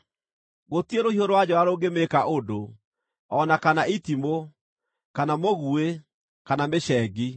Gũtirĩ rũhiũ rwa njora rũngĩmĩĩka ũndũ, o na kana itimũ, kana mũguĩ, kana mĩcengi.